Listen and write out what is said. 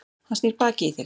Hann snýr baki í þig.